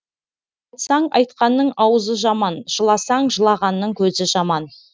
айтсаң айтқанның аузы жаман жыласаң жылағанның көзі жаман